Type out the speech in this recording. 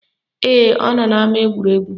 Ee, ọ nọ n'ama egwuregwu